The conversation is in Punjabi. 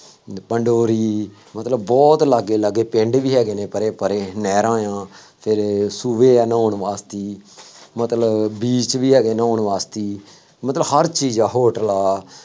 ਪੰਡੋਰੀ, ਮਤਲਬ ਬਹੁਤ ਲਾਗੇ ਲਾਗੇ ਪਿੰਡ ਵੀ ਹੈਗੇ ਨੇ ਪਰੇ ਪਰੇ, ਨਹਿਰਾਂ ਆ, ਫੇਰ ਸੂਏ ਆ ਨਹਾਉਣ ਵਾਸਤੇ, ਮਤਲਬ beach ਵੀ ਹੈਗੇ ਨਹਾਉਣ ਵਾਸਤੇ, ਮਤਲਬ ਹਰ ਚੀਜ਼ ਆ ਹੋਟਲ ਆ